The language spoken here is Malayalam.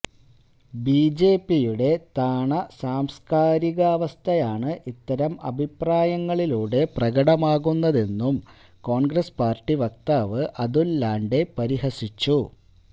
ബിജെപിയുടെ താണ സാംസ്കാരികാവസ്ഥയാണ് ഇത്തരം അഭിപ്രായങ്ങളിലൂടെ പ്രകടമാകുന്നതെന്നും കോണ്ഗ്രസ് പാര്ട്ടി വക്താവ് അതുല് ലോണ്ഡേ പരിഹസിച്ചു